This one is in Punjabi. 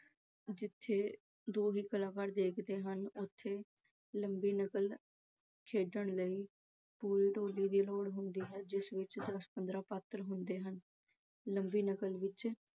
ਜਿੱਥੇ ਦੋ ਹੀ ਕਲਾਕਾਰ ਖੇਡਦੇ ਹਨ ਉੱਥੇ ਲੰਮੀ ਨਕਲ ਖੇਡਣ ਲਈ ਪੂਰੀ ਟੋਲੀ ਦੀ ਲੋੜ ਹੁੰਦੀ ਹੈ। ਇਸ ਵਿੱਚ ਦਸ-ਪੰਦਰਾਂ ਪਾਤਰ ਹੁੰਦੇ ਹਨ। ਲੰਮੀ ਨਕਲ ਵਿੱਚ